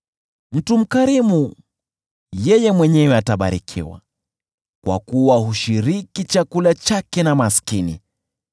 Mtu mkarimu yeye mwenyewe atabarikiwa kwa kuwa hushiriki chakula chake na maskini.